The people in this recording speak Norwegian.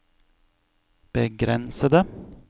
begrensede